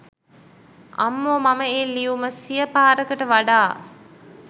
අම්මෝ මම ඒ ලියුම සිය පාරකට වඩා